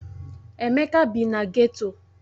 Emeka bi na geto.